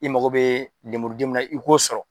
I mako bɛ lemuru den minna i k'o sɔrɔ.